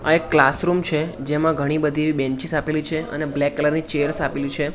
આ એક ક્લાસરૂમ છે જેમા ઘણી બધી બેન્ચીસ આપેલી છે અને બ્લેક કલર ની ચેર્સ આપેલી છે.